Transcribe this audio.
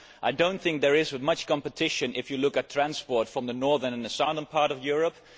I do not think there is much competition when you look at transport from the northern and southern parts of Europe.